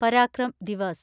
Parakram Diva's